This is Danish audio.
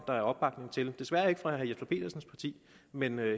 der er opbakning til det desværre ikke fra herre jesper petersens parti men